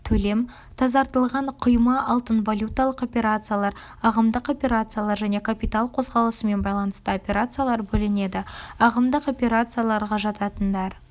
тазартылған құйма алтын валюталық операциялар ағымдық операциялар және капитал қозғалысымен байланысты операциялар бөлінеді ағымдық операцияларға жататындар